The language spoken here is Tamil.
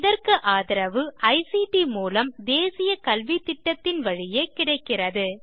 இதற்கு ஆதரவு ஐசிடி மூலம் தேசிய கல்வித்திட்டத்தின் வழியே கிடைக்கிறது